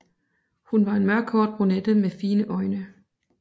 Hun var en mørkhåret brunette med fine øjne